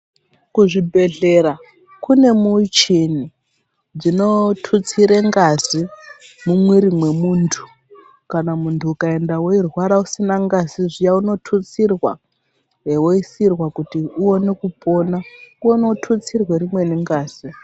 Ku zvibhedhlera kune muchini dzino tutsire ngazi mu mwiri mwe muntu kana muntu uka enda wei rwara usina ngazi uno tutsirwa wo isirwa kuti uwone kupona kono tutsirwe rimweni ngazi.